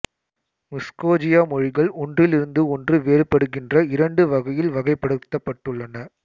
முஸ்கோஜிய மொழிகள் ஒன்றிலிருந்து ஒன்று வேறுபடுகின்ற இரண்டு வகையில் வகைப்படுத்தப்பட்டு உள்ளன